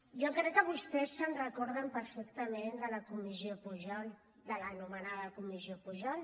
jo crec que vostès se’n recorden perfectament de la comissió pujol de l’anomenada comissió pujol